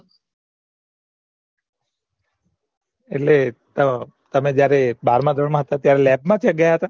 એટલે તમે જયારે બારમામાં હતા ત્યારે lab માં ગયા હતા